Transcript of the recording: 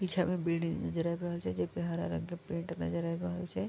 पीछा में बिल्डिंग नजर ऐब रहल छै जे पे हरा रंग के पेंट नजर ऐब रहल छै।